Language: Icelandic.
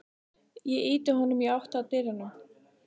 Ég ýti honum í áttina að dyrunum.